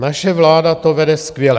Naše vláda to vede skvěle.